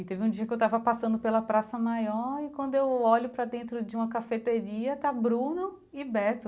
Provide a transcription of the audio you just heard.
E teve um dia que eu estava passando pela praça maior, e quando eu olho para dentro de uma cafeteria, está Bruno e Beto.